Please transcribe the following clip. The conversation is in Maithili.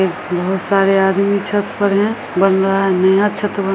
बहुत सारे आदमी छत पर हैं बनवा रहे हैं छत ब --